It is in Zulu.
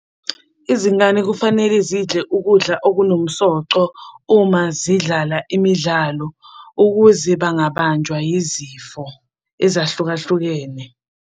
Izingane kufanele zidle ukudla okunomsoco uma zidlala imidlalo ukuze bangabanjwa yizifo ezahlukahlukene.